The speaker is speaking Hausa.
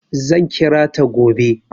Zan kira ta gobe.